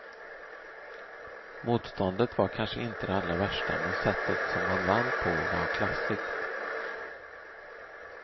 Motståndet var kanske inte det allra värsta men sättet som han vann på var klassigt.